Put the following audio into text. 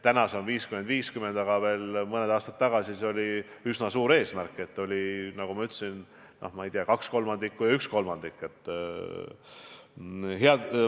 Praegu on see 50 : 50, aga veel mõned aastad tagasi see oli üsna kauge eesmärk ja tegelik suhe oli, nagu ma ütlesin, 2/3 ja 1/3.